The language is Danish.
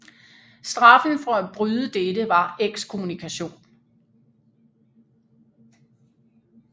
Straffen for at bryde dette var ekskommunikation